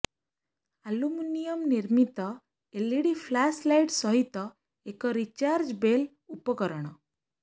aluminium ନିର୍ମିତ LED flash light ସହିତ ଏକ ରିଚାର୍ଜବେଲ୍ ଉପକରଣ